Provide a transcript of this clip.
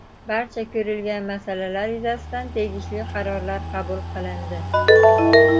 Barcha ko‘rilgan masalalar yuzasidan tegishli qarorlar qabul qilindi.